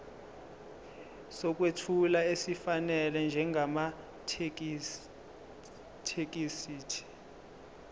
sokwethula esifanele njengamathekisthi